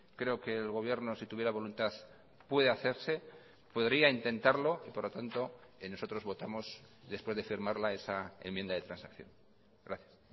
creo que el gobierno si tuviera voluntad puede hacerse podría intentarlo y por lo tanto nosotros votamos después de firmarla esa enmienda de transacción gracias